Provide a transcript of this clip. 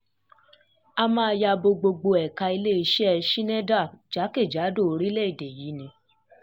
um a máa ya bo gbogbo ẹ̀ka um iléeṣẹ́ i schneider jákè-jádò orílẹ̀‐èdè yìí ní ti